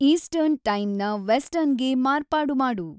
eastern ಟೈಮ್‌ನ ವೆಸ್ಟರ್ನ್‌ಗೆ ಮಾರ್ಪಾಡು ಮಾಡು